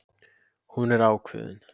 Hún er ákveðin.